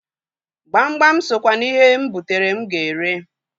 Gbamgbam sokwa n'ihe m butara m ga-ere.